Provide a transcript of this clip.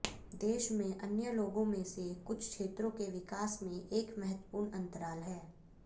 देश में अन्य लोगों में से कुछ क्षेत्रों के विकास में एक महत्वपूर्ण अंतराल है